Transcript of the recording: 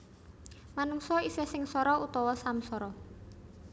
Manungsa isih sengsara utawa samsara